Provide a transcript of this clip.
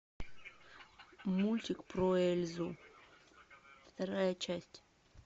мультик про эльзу вторая часть